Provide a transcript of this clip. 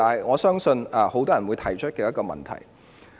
我相信這是很多人會提出的問題。